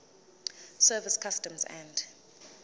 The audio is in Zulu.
service customs and